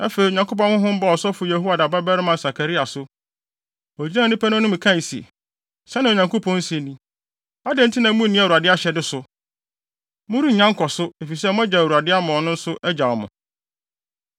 Afei, Onyankopɔn Honhom baa ɔsɔfo Yehoiada babarima Sakaria so. Ogyinaa nnipa no anim kae se, “Sɛnea Onyankopɔn se ni: Adɛn nti na munni Awurade ahyɛde so? Morennya nkɔso, efisɛ moagyaw Awurade ama ɔno nso agyaw mo!”